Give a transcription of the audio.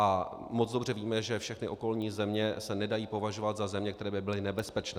A moc dobře víme, že všechny okolní země se nedají považovat za země, které by byly nebezpečné.